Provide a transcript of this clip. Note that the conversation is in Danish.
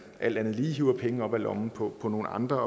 alt andet lige hiver penge op af lommen på nogle andre